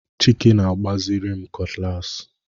Chike a-na-agbaziri m cutlass.